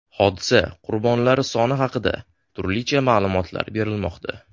Hodisa qurbonlari soni haqida turlicha ma’lumot berilmoqda.